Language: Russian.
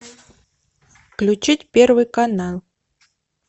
включить первый канал